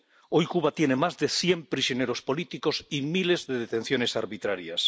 Hoy Cuba tiene más de cien prisioneros políticos y miles de detenciones arbitrarias.